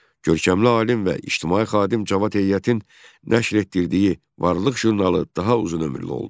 Görkəmli alim və ictimai xadim Cavad Heyətin nəşr etdirdiyi "Varlıq" jurnalı daha uzunömürlü oldu.